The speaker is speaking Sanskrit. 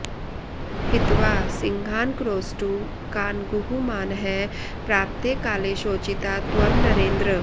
हित्वा सिंहान्क्रोष्टु कान्गूहमानः प्राप्ते काले शोचिता त्वं नरेन्द्र